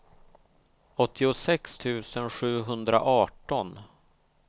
åttiosex tusen sjuhundraarton